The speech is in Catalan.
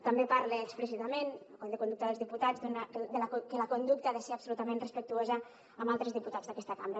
també parla explícitament el codi de conducta dels diputats que la conducta ha de ser absolutament respectuosa amb altres diputats d’aquesta cambra